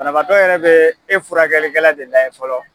Banavaatɔ bɛɛ e yɛrɛ furakɛkikɛla de lajɛ fɔlɔ.